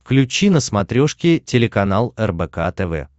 включи на смотрешке телеканал рбк тв